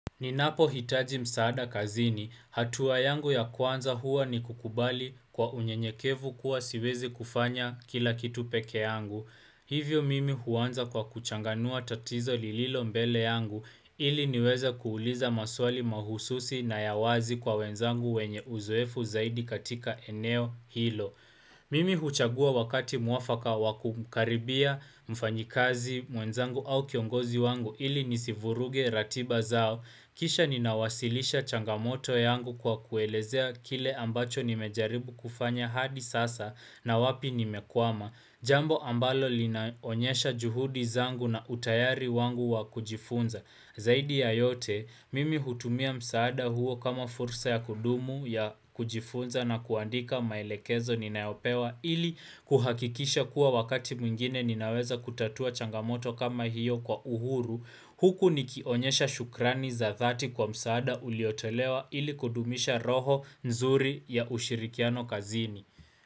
Ninapo hitaji msaada kazini, hatua yangu ya kwanza huwa ni kukubali kwa unyenyekevu kuwa siwezi kufanya kila kitu peke yangu. Hivyo mimi huanza kwa kuchanganua tatizo lililo mbele yangu ili niweza kuuliza maswali mahususi na ya wazi kwa wenzangu wenye uzoefu zaidi katika eneo hilo. Mimi huchagua wakati mwafaka wakumkaribia mfanyikazi mwenzangu au kiongozi wangu ili nisivuruge ratiba zao. Kisha ninawasilisha changamoto yangu kwa kuelezea kile ambacho nimejaribu kufanya hadi sasa na wapi nime kwama. Jambo ambalo linaonyesha juhudi zangu na utayari wangu wa kujifunza. Zaidi ya yote, mimi hutumia msaada huo kama fursa ya kudumu ya kujifunza na kuandika maelekezo ninayopewa ili kuhakikisha kuwa wakati mwingine ninaweza kutatua changamoto kama hiyo kwa uhuru, huku nikionyesha shukrani za thati kwa msaada uliotelewa ili kudumisha roho nzuri ya ushirikiano kazini.